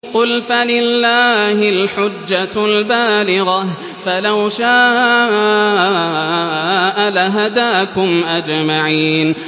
قُلْ فَلِلَّهِ الْحُجَّةُ الْبَالِغَةُ ۖ فَلَوْ شَاءَ لَهَدَاكُمْ أَجْمَعِينَ